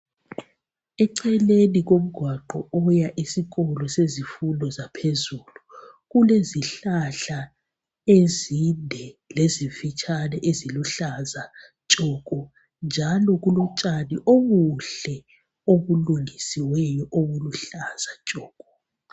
Eceleni komgwaqo wokuya esikolo sezifundo zaphezulu kulezihlahla ezinde lezifitshane eziluhlaza tshoko, njalo kulotshani obuhle obulungisiweyo obuluhlaza tshoko.